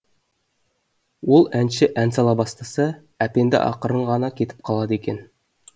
сол әнші ән сала бастаса әпенді ақырын ғана кетіп қалады екен